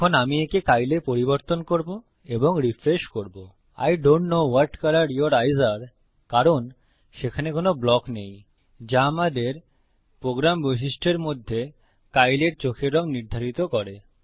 এখন আমি একে Kyle এ পরিবর্তন করব এবং রিফ্রেশ করব I don't know what colour your eyes are কারণ সেখানে কোনো ব্লক নেই যা আমাদের প্রোগ্রাম বৈশিষ্ট্যের মধ্যে Kyle এর চোখের রঙ নির্ধারিত করে